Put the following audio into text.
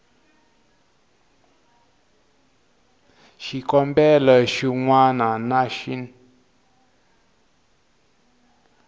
xikombelo xin wana na xin